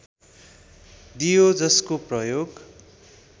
दियो जसको प्रयोग